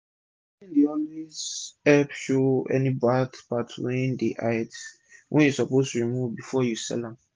cleaning dey always epp show any bard part wey hide wey u suppose remove before u sell am